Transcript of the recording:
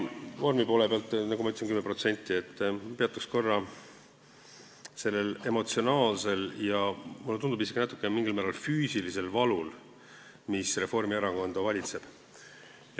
Vormi poole pealt – nagu ma ütlesin, 10% – peatuks korra sellel emotsionaalsel ja mulle tundub, et isegi mingil määral füüsilisel valul, mis Reformierakonda valitseb.